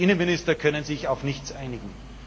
Die Innenminister können sich auf nichts einigen.